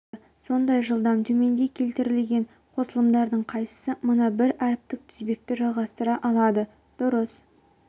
тез өте жақсы сондай жылдам төменде келтірілген қосылмдардың қайсысы мына бір әріптік тізбекті жалғастыра алады дұрыс